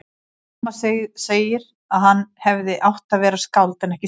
Amma segir að hann hefði átt að verða skáld en ekki sjómaður.